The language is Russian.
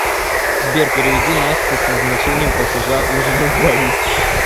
сбер переведи насте с назначением платежа ужин на двоих